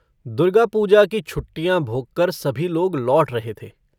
दुर्गापूजा की छुट्टियाँ भोगकर सभी लोग लौट रहे थे।